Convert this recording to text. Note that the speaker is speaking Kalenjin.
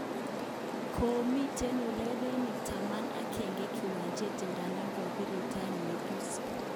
Komiten urerenik taman agenge kiwanjet idadan kokirirtaen Mesut.